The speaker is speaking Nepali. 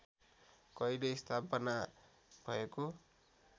कहिले स्थापना भएको